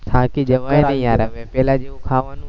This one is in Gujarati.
થાકી જવાય ને યાર હવે પહેલા જેવુ ખાવાનુ